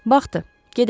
Baxdı, gedək!